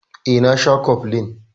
Eh, na sha koflin.